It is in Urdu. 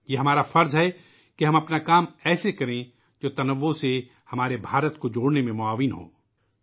یہ ہماری ذمہ داری ہے کہ ہم اپنے کام اِس طرح کریں ، جو تنوع والے ہمارے بھارت کو جوڑنے میں مدد گار ہو سکیں